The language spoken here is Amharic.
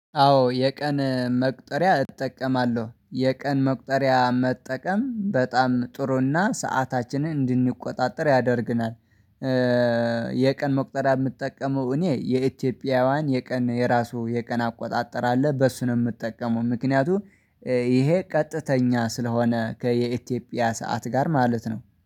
አዎ የቀን መቁጠሪያ እጠቀማለሁ። የቀን መቁጠሪያ መጠቀም በጣም ጥሩና ሰአታችንን እንድንቆጣጠር ያደርግናል። የቀን መቁጠሪያ የምጠቀመው እኔ የኢትዮጵያውያን የቀን የራሱ የቀን አቆጣጠር አለ፤ በሱ ነው የምጠቀመው ምክንያቱም ይሄ ቀጥተኛ ስለሆነ ከየኢትዮጵያ ሰዓት ጋር ማለት ነው።